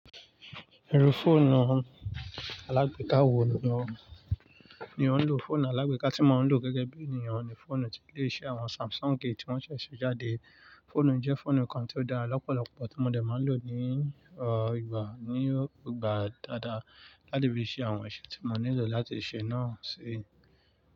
Irú fóònù alágbeka wo ni o ń lò? Fóònù alágbeka tí mo ń lò gẹ́gẹ́ bí ènìyàn ni fọ́ònù tí ilè ṣe àwọn Samsung tí wọ́n ṣẹ̀ ṣe jáde. Fóònù ijẹ́ fọ́ònù kan tí ó dára lọ́pọ̀lọpọ̀ tí mo dẹ̀ máa ń lò ní ìgbà dáadáa láti fi ṣe àwọn iṣẹ́ tí mo nílò láti ṣe náà sí.